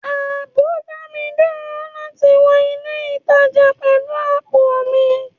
Ààbò dá mi dúró láti wọ ilé ìtajà pẹ̀lú àpò mi.